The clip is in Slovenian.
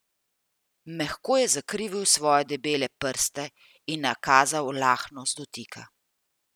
Mehko je zakrivil svoje debele prste in nakazal lahnost dotika.